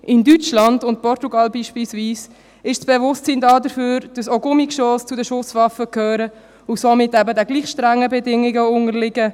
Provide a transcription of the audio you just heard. In Deutschland und Portugal beispielsweise ist das Bewusstsein dafür vorhanden, dass auch Gummigeschosse zu den Schusswaffen gehören und somit eben den gleich strengen Bedingungen unterliegen.